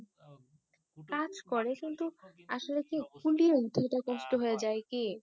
হম কাজ করে কিন্তু আসলে কি উঠানটা কষ্ট হয়ে যায় কি